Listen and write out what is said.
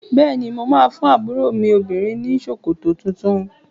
Bẹ́ẹ̀ ni, máa fún àbúrò mi obìnrin ní ṣòkòtò tuntun.